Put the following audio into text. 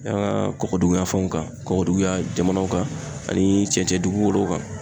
An ka kɔkɔdugunyan fɛnw kan kɔkɔduguya jamanaw kan ani cɛncɛn dugukolo kan.